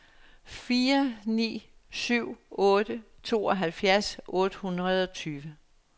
fire ni syv otte tooghalvfjerds otte hundrede og tyve